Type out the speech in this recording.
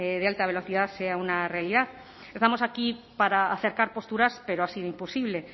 de alta velocidad sea una realidad estamos aquí para acercar posturas pero ha sido imposible